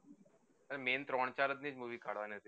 main ત્રણ ચાર એ જ જોઈ કાઢવાની હતી